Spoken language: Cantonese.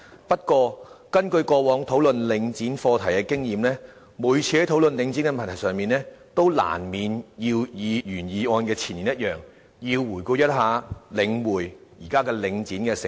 不過，根據過往討論領展課題的經驗，每次討論領展的問題時，都難免要與原議案的前言一樣，回顧領匯房地產投資信託基金，即現時的領展的成立。